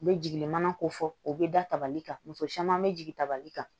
U bɛ jigin mana ko fɔ u bɛ dabali kan muso caman bɛ jigin tabali kan